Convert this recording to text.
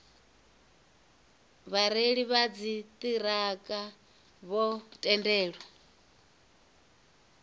vhareili vha dziṱhirakha vho tendelwa